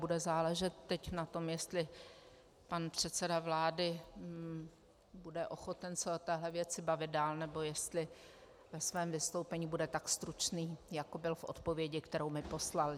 Bude záležet teď na tom, jestli pan předseda vlády bude ochoten se o této věci bavit dál, nebo jestli ve svém vystoupení bude tak stručný, jako byl v odpovědi, kterou mi poslal.